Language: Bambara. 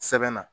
Sɛbɛn na